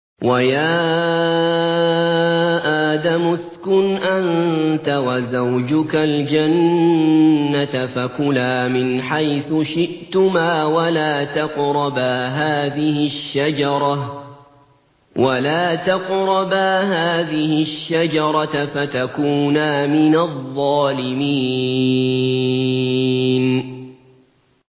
وَيَا آدَمُ اسْكُنْ أَنتَ وَزَوْجُكَ الْجَنَّةَ فَكُلَا مِنْ حَيْثُ شِئْتُمَا وَلَا تَقْرَبَا هَٰذِهِ الشَّجَرَةَ فَتَكُونَا مِنَ الظَّالِمِينَ